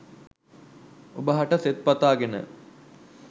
ඔබ හට සෙත් පතාගෙන